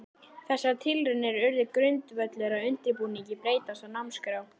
Þessar tilraunir urðu grundvöllur að undirbúningi breytinga á námskrá.